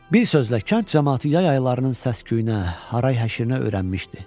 Bir sözlə, kənd camaatı yay aylarının səs-küyünə, haray-həşirinə öyrənmişdi.